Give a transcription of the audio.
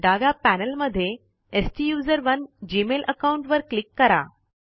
डाव्या पैनल मध्ये स्टुसरोने जीमेल अकाउंट वर क्लिक करा